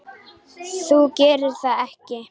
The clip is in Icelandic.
Þú gerðir það ekki?